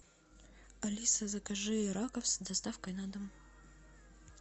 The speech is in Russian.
алиса закажи раков с доставкой на дом